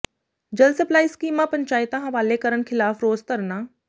ਜਲ ਸਪਲਾਈ ਸਕੀਮਾਂ ਪੰਚਾਇਤਾਂ ਹਵਾਲੇ ਕਰਨ ਖ਼ਿਲਾਫ਼ ਰੋਸ ਧਰਨਾ